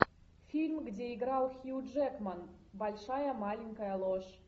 фильм где играл хью джекман большая маленькая ложь